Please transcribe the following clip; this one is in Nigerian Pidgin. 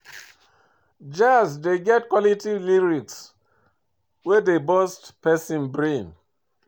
Jazz dey get quality lyrics wey dey burst person brain